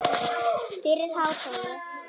Fyrir hádegi.